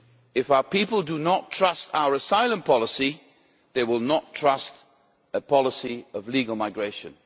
If our people do not trust our asylum policy they will not trust a policy of legal migration.